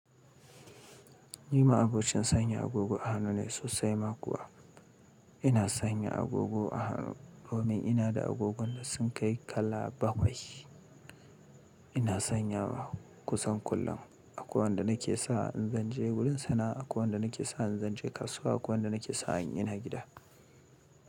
Ni ma'abocin sanya agogon hannu ne sosai ma kuwa ina sanya agogo a hannu domin ina da agogon da sun kai kala bakwai. Ina sanyawa kusan kullum. Akwai wanda nake sa in zan je wurin sana'a, akwai wanda nake sa in zan je kasuwa, akwai wanda nake sa an yi na gida.